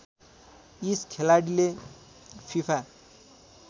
इस खेलाडीले फीफा